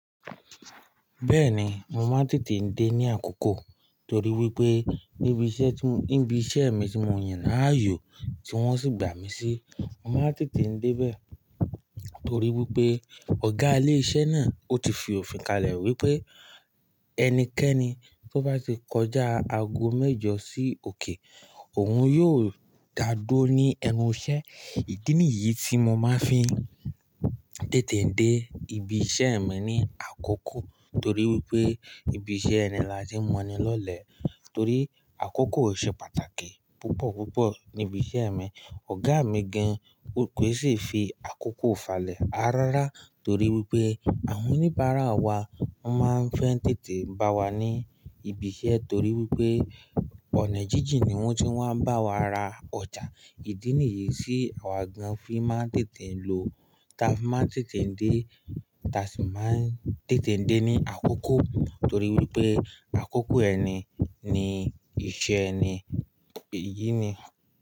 Bẹ́ẹ̀ni, mo máa ń tètè dé ní àkókò torí wípé níbi iṣẹ́ tí, níbi iṣẹ́ mi tí mo yàn láàyò tí wón sì gbà mí sí, mo máa ń tètè dé bẹ́ẹ̀ torí wípé ọ̀gá ilé iṣẹ́ náà ó ti fi òfin kalẹ̀ wípé ẹnikẹ́ni tó bá ti kọjá aago mẹ́jọ sí òkè, òun yóò dá duró ní ẹnu iṣẹ́. Ìdí nìyí tí mo máa ń fi tètè dé ibi iṣẹ́ mi ní àkókò torí wípé ibi iṣẹ́ ẹni láti mọni lọ́lẹ̀ torí àkókò ṣe pàtàkì púpọ̀ púpọ̀ ní ibi iṣẹ́ mi. Ọ̀gá mi gan kò sì fi àkókò falẹ̀ arárá torí wípé àwọn oníbàárà wa máa ń fẹ́ tètè bá wa ní ibi iṣẹ́ torí wípé ọ̀nà jíjìn ni wón ti máa ń bá wa ra ọjà. Ìdí nìyí tí àwa gan fi máa ń tètè lọ, táa fi máa ń tètè dé, táa sì máa ń tètè dé ní àkókò torí wípé àkókò ẹni ni iṣẹ́ ẹni. Èyí ni.